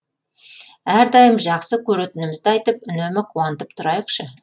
әрдайым жақсы көретінімізді айтып үнемі қуантып тұрайықшы